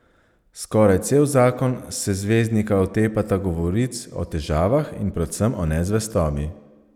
Skoraj cel zakon se zvezdnika otepata govoric o težavah in predvsem o nezvestobi.